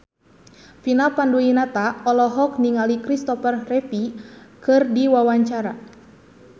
Vina Panduwinata olohok ningali Kristopher Reeve keur diwawancara